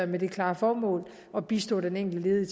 med det klare formål at bistå den enkelte ledige